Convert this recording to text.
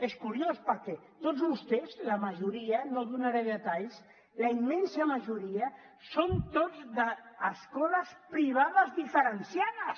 és curiós perquè tots vostès la majoria no donaré detalls la immensa majoria són tots d’escoles privades diferenciades